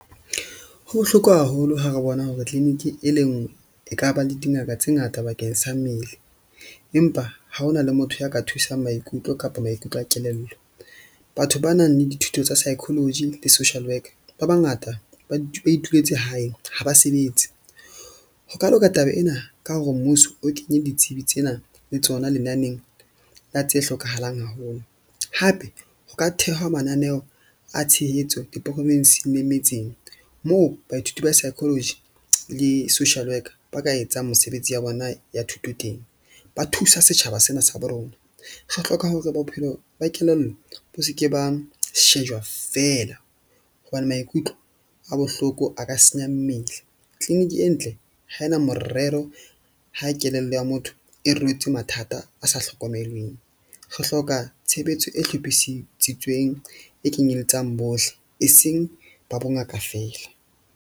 Ho bohloko haholo ha re bona hore clinic e le nngwe e ka ba le dingaka tse ngata bakeng sa mmele. Empa ha ho na le motho a ka thusang maikutlo kapa maikutlo a kelello. Batho ba nang le dithuto tsa psychology le social worker ba bangata ba ituletse hae ha ba sebetse. Ho ka loka taba ena ka hore mmuso o kenye ditsebi tsena le tsona lenaneng la tse hlokahalang haholo, hape ho ka thehwa mananeo a tshehetso diporofensing le metseng. Moo baithuti ba psychology le social worker ba ka etsang mesebetsi ya bona ya thuto teng, ba thusa setjhaba sena sa bo rona. Re hloka hore bophelo ba kelello bo se ke ba shejwa fela. Hobane maikutlo a bohloko a ka senya mmele clinic e ntle ha ena morero ha kelello ya motho e rwetse mathata a sa hlokomelweng. Re hloka tshebetso e hlophisitsweng e kenyelletsang bohle, e seng ba bongaka feela.